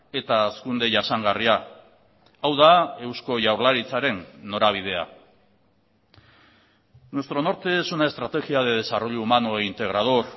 eta hazkunde jasangarria hau da eusko jaurlaritzaren norabidea nuestro norte es una estrategia de desarrollo humano e integrador